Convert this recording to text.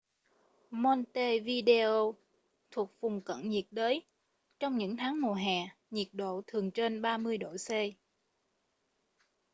montevideo thuộc vùng cận nhiệt đới; trong những tháng mùa hè nhiệt độ thường trên +30°c